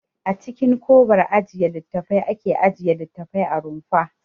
A cikin kobar ajiye littattafai ake ajiye littattafai a rumfa.